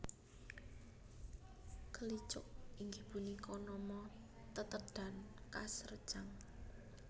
Kelicuk inggih punika nama tetedhan khas Rejang